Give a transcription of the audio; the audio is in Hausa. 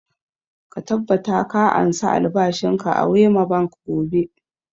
Ka tabbata ka ansa albashin ka a wema bank gobe!